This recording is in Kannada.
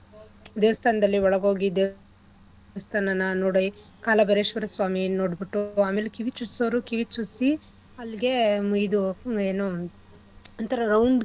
ದೇವಸ್ಥಾನದಲ್ಲಿ ಒಳಗೋಗಿ ದೇವಸ್ಥಾನನ ನೋಡಿ ಕಾಲಭೈರೇಶ್ವರ ಸ್ವಾಮಿನ್ ನೋಡ್ಬುಟ್ಟು ಅಮೇಲೆ ಕಿವಿ ಚುಚ್ಸೋರು ಕಿವಿ ಚುಚ್ಸಿ ಎಲ್ಲಿಗೆ ಇದು ಏನು ಒಂಥರ round ಕಿರದು.